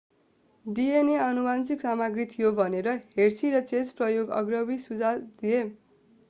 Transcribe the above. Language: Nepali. डीएनए आनुवंशिक सामग्री थियो भनेर hershey र chase प्रयोग अग्रणी सुझाव थिए